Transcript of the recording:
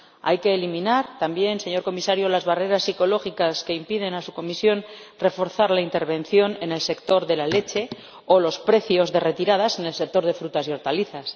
Hay que eliminar también, señor Comisario, las barreras psicológicas que impiden a su Comisión reforzar la intervención en el sector de la leche o en los precios de retirada en el sector de las frutas y hortalizas.